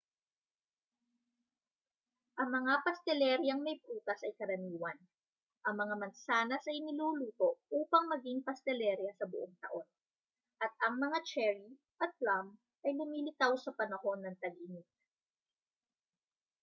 ang mga pasteleryang may prutas ay karaniwan ang mga mansanas ay niluluto upang maging pastelerya sa buong taon at ang mga cherry at plum ay lumilitaw sa panahon ng tag-init